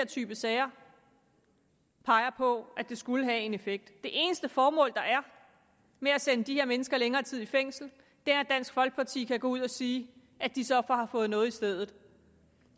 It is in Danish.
type sager peger på at det skulle have en effekt det eneste formål der er med at sende de her mennesker længere tid i fængsel er at dansk folkeparti kan gå ud og sige at de så har fået noget i stedet